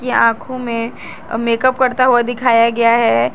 या आंखों में मेकअप करता हुआ दिखाया गया है।